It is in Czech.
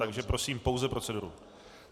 Takže prosím pouze proceduru.